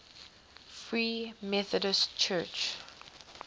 free methodist church